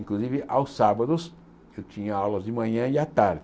Inclusive, aos sábados, eu tinha aulas de manhã e à tarde.